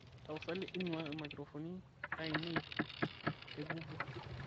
tapasali inuaa imaikirofoni ainei tegoogle